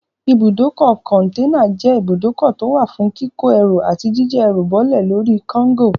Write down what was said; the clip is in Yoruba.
Ibùdókọ̀ kọ̀ǹtẹ́nà jẹ́ ibùdókọ̀ tó wà fún kíkó ẹrú àti jíjá ẹrù bọ́lè lórí kágò.